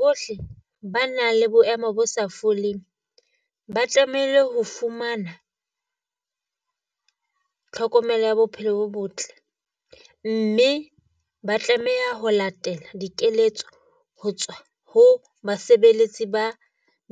Bohle ba nang le boemo bo sa foleng. Ba tlamehile ho fumana tlhokomelo ya bophelo bo botle, mme ba tlameha ho latela dikeletso ho tswa ho basebeletsi ba